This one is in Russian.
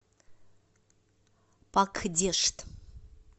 пакдешт